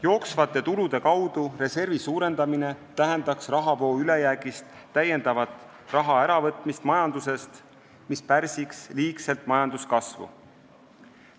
Jooksvate tulude kaudu reservi suurendamine tähendaks rahavoo ülejäägist täiendavat raha äravõtmist, mis pärsiks liigselt majanduskasvu.